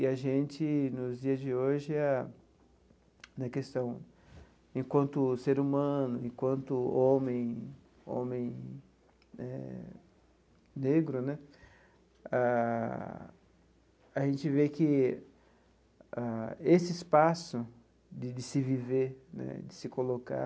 E a gente, nos dias de hoje a, na questão, enquanto ser humano, enquanto homem homem eh negro né, ah a gente vê que esse espaço de de se viver né, de se colocar,